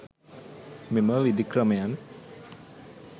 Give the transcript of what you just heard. මෙම විධික්‍රමයන්